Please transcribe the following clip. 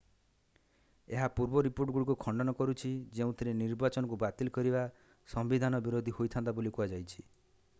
ଏହା ପୂର୍ବ ରିପୋର୍ଟଗୁଡ଼ିକୁ ଖଣ୍ଡନ କରୁଛି ଯେଉଁଥିରେ ନିର୍ବାଚନକୁ ବାତିଲ କରିବା ସମ୍ବିଧାନ ବିରୋଧୀ ହୋଇଥାନ୍ତା ବୋଲି କୁହାଯାଇଛି